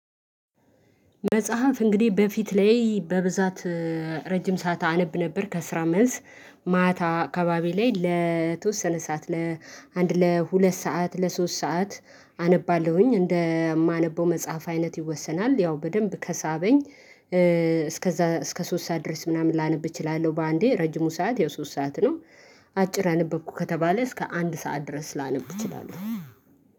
መጽሐፍ እንግዲህ በፊት ላይ በብዛት ረጅም ሰዓት አነብ ነበር። ከስራ መልስ ማታ አካባቢ ላይ ለተወሰነ ሰዓት ለአንድ ለሁለት ሰዓት ለሶስት ሰዓት አነባለሁኝ እንደማነበው መጽሐፍ አይነት ይወሰናል። ያው በደንብ ከሳበኝ እስከዛ እስከ ሶስት ሰዓት ድረስ ምናምን ላነብ እችላለሁ በአንዴ ረጅሙ ሰዓት ያው ሶስት ሰዓት ነው። አጭር አነበብኩ ከተባለ እስከ አንድ ሰዓት ድረስ ላነብ እችላለሁ